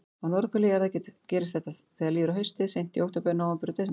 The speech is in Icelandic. Á norðurhveli jarðar gerist þetta þegar líður á haustið, seint í október, nóvember og desember.